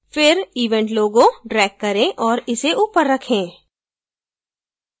फिर event logo drag करें और इसे ऊपर रखें